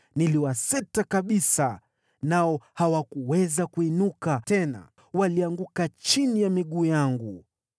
Niliwaseta kabisa, nao hawakuweza kuinuka tena; walianguka chini ya miguu yangu.